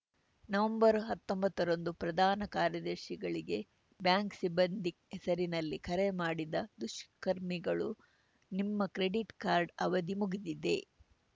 ನವೆಂಬರ್ಹತ್ತೊಂಬತ್ತರಂದು ಪ್ರಧಾನ ಕಾರ್ಯದರ್ಶಿಗಳಿಗೆ ಬ್ಯಾಂಕ್‌ ಸಿಬ್ಬಂದಿ ಹೆಸರಿನಲ್ಲಿ ಕರೆ ಮಾಡಿದ ದುಷ್ಕರ್ಮಿಗಳು ನಿಮ್ಮ ಕ್ರೆಡಿಟ್‌ ಕಾರ್ಡ್‌ ಅವಧಿ ಮುಗಿದಿದೆ